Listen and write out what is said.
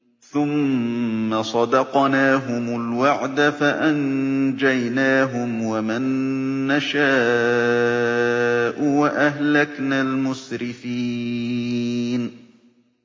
ثُمَّ صَدَقْنَاهُمُ الْوَعْدَ فَأَنجَيْنَاهُمْ وَمَن نَّشَاءُ وَأَهْلَكْنَا الْمُسْرِفِينَ